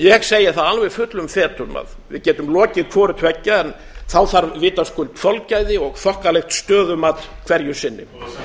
ég segi það alla fullum fetum að við getum lokið hvorutveggja en þá þarf vitaskuld þolgæði og þokkalegt stöðumat hverju sinni það eru